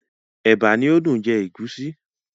Ẹ̀bà ni ó dùn jẹ ègúsí.